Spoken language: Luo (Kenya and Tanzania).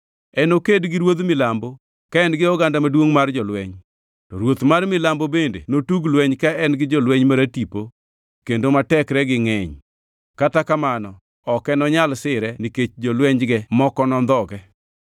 “Enoked gi ruodh milambo, ka en gi oganda maduongʼ mar jolweny. To ruoth mar milambo bende notug lweny ka en gi jolweny maratipo kendo ma tekregi ngʼeny, kata kamano ok enonyal sire nikech jolwenyge moko nondhoge.